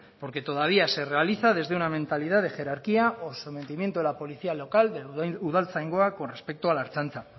porque todavía se realiza desde una mentalidad de jerarquía o sometimiento de la policía local de udaltzaingoa con respecto a la ertzaintza